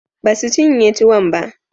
Ba su cinye tuwon ba.